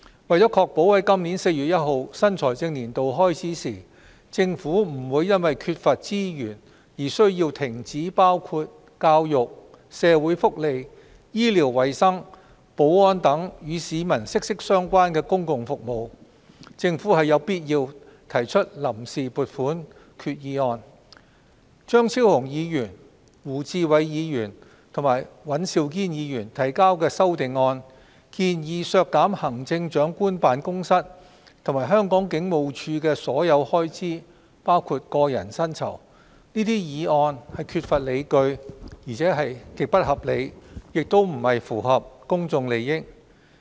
為確保在今年4月1日新財政年度開始時，政府不會因缺乏資源而需要停止包括教育、社會福利、醫療衞生、保安等與市民息息相關的公共服務，政府有必要提出臨時撥款決議案。張超雄議員、胡志偉議員及尹兆堅議員提交的修訂議案，建議削減行政長官辦公室及香港警務處的所有開支。這些議案缺乏理據，而且極不合理，亦不符合公眾利益。